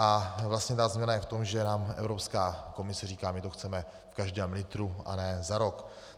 A vlastně ta změna je v tom, že nám Evropská komise říká: my to chceme v každém litru, a ne za rok.